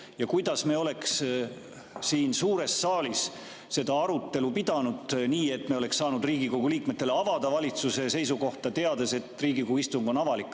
Ja kuidas me oleks siin suures saalis seda arutelu pidanud nii, et me oleks saanud Riigikogu liikmetele avada valitsuse seisukohta, teades, et Riigikogu istung on avalik?